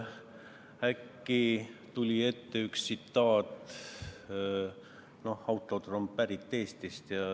Äkki tuli ette üks tsitaat, mille autor oli pärit Eestist.